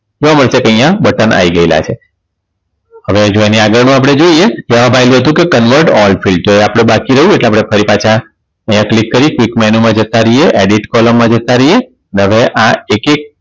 જોવા મળશે કે અહીંયા બટન આવી ગયા છે. હવે જો એની આગળનું આપણે જોઈ Canweled all feel તો આપણે એ બાકી રહ્યું એટલે આપણે ફરી પાછા અહીંયા click કરી click menu માં જતા રહ્યે Edit column માં જતા રહીયે ને હવે આ એક એક